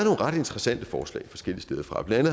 ret interessante forslag forskellige steder fra blandt